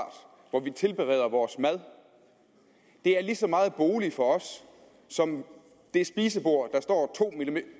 hvor vi tilbereder vores mad det er lige så meget bolig for os som det spisebord der står